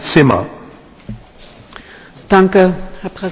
Herr Präsident, sehr geehrter Herr Juncker!